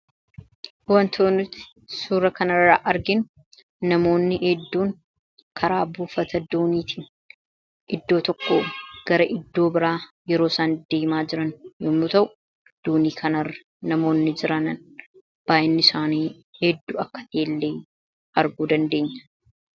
wantooniti suura kanarraa argin namoonni edduun karaa buufata duuniitiin iddoo tokko gara iddoo biraa yeroo san deemaa jiran yommuu ta'u duunii kanrra namoonni jiranan baayinni isaanii hedduu akka tellee arguu dandeenya